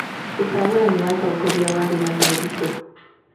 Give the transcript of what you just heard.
ũcagũrani wa atongoria warĩ na moritũ.